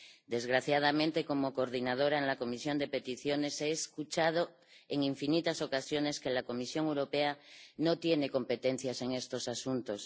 Desgraciadamente, como coordinadora en la Comisión de Peticiones, he escuchado en infinitas ocasiones que la Comisión Europea no tiene competencias en estos asuntos.